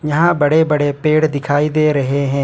यहां बड़े बड़े पेड़ दिखाई दे रहे है।